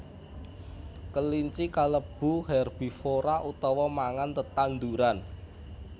Kelinci kalebu herbivora utawa mangan tetanduran